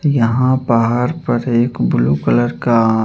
यहाँ पहाड़ पर एक ब्लू कलर का आँ --